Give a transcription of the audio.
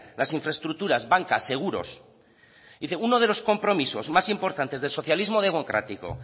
las infraestructuras bancas seguros dice uno de los compromisos más importante del socialismo democrático